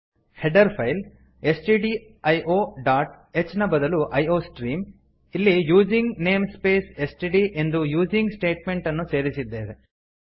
header file STDIO dot h ನ ಬದಲು iostream ಇಲ್ಲಿ ಯೂಸಿಂಗ್ ನೇಂಸ್ಪೇಸ್ ಎಸ್ಟಿಡಿ ಎಂದು ಯೂಸಿಂಗ್ ಸ್ಟೇಟ್ಮೆಂಟ್ಅನ್ನು ಸೇರಿಸಿದ್ದೇವೆ